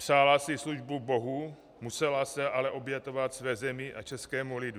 Přála si službu Bohu, musela se ale obětovat své zemi a českému lidu.